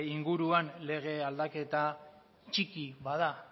inguruan lege aldaketa txiki bada